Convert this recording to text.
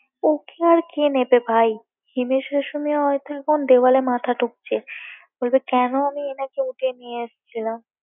ওকে আর কে নেবে ভাই হিমেশ রেশমিয়া হয়তো এখন দেওয়ালে মাথা ঠুকছে বলবে কেন আমি এনাকে উঠিয়ে নিয়ে এসেছিলাম